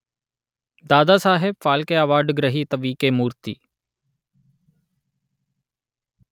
Dadasaheb Phalke award గ్రహీత వి.కె.మూర్తి